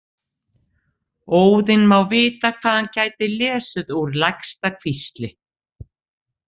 Óðinn má vita hvað hann gæti lesið úr lægsta hvísli.